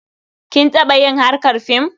Kin taɓa yin harkar fim?